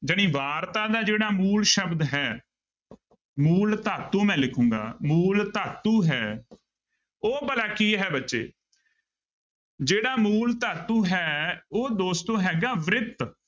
ਜਾਣੀ ਵਾਰਤਾ ਦਾ ਜਿਹੜਾ ਮੂਲ ਸ਼ਬਦ ਹੈ ਮੂਲ ਧਾਤੂ ਮੈਂ ਲਿਖਾਂਗਾ, ਮੂਲ ਧਾਤੂ ਹੈ ਉਹ ਭਲਾ ਕੀ ਹੈ ਬੱਚੇ ਜਿਹੜਾ ਮੂਲ ਧਾਤੂ ਹੈ ਉਹ ਦੋਸਤੋ ਹੈਗਾ ਬ੍ਰਿਤ।